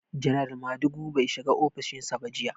Janar Madugu bai shiga ofishin sa ba jiya.